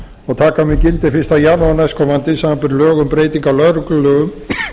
og taka mun gildi fyrsta janúar næstkomandi samanber lög um breytingu á lögreglulögum